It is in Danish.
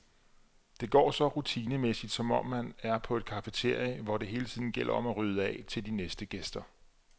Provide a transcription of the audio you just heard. Det går så rutinemæssigt, som om man er på et cafeteria, hvor det hele tiden gælder om at rydde af til de næste gæster.